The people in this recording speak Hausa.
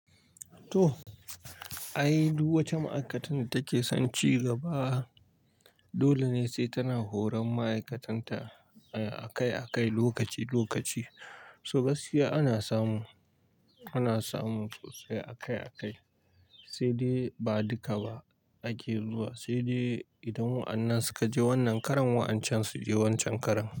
To, ai duk wacce ma'aikatar da take son ci gaba dole ne sai tana horon ma'aikatanta akai-akai, lokaci-lokaci. Toh gaskiya ana samu, ana samu sosai akai-akai. Sai dai ba duka ba ake zuwa, sai dai idan wa'annan suka je wannan karon, wa'ancan su je waccan karon.